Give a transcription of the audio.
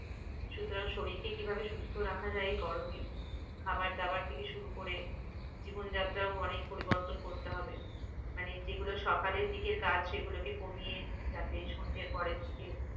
সুতরাং শরীরকে কিভাবে সুস্থ রাখা যায়? গরমে খাবার-দাবার থেকে শুরু করে জীবন যাত্রার অনেক পরিবর্তন করতে হবে। মানে যেগুলো সকালের দিকের কাজ সেগুলো কে কমিয়ে যাতে সন্ধের পরেরদিকে